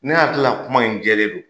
Ne y'a hakilila kuma in jɛlen don.